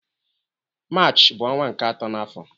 Maachị bu onwa nke ato na afo